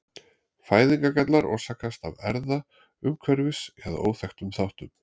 Fæðingargallar orsakast af erfða-, umhverfis- eða óþekktum þáttum.